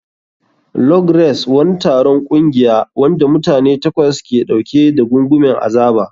Log Race. Wani taron ƙungiya, wanda mutane takwas ke ɗauke da gungumen azaba.